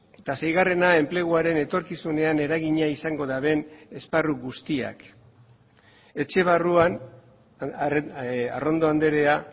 eta seigarrena enpleguaren etorkizunean eragina izango duten esparru guztiak etxe barruan arrondo andrea